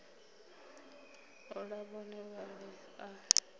u ḽa vhone vhaṋe a